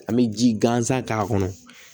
An bɛ ji gansan k'a kɔnɔ